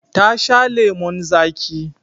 Ta sha lemon zaƙi.